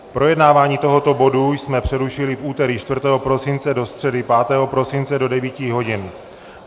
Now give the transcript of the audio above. Projednávání tohoto bodu jsme přerušili v úterý 4. prosince do středy 5. prosince do 9.00 hodin.